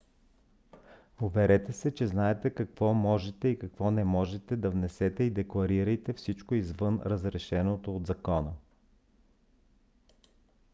уверете се че знаете какво можете и какво не можете да внесете и декларирайте всичко извън разрешеното от закона